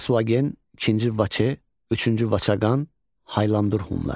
Asuagen, II Vaçe, III Vaçaqan, Haylandur hunları.